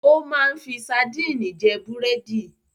O máa ń fi sadínì jẹ búrẹ́dì.